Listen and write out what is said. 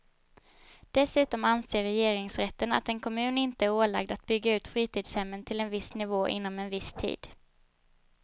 Dessutom anser regeringsrätten att en kommun inte är ålagd att bygga ut fritidshemmen till en viss nivå inom en viss tid.